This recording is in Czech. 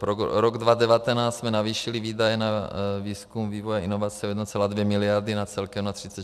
Pro rok 2019 jsme navýšili výdaje na výzkum, vývoj, inovace o 1,2 miliardy na celkem 36 miliard.